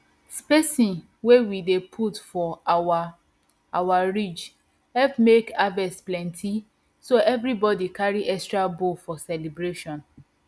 spacing wey we dey put for our our ridge help make harvest plenty so everybody carry extra bowl for celebration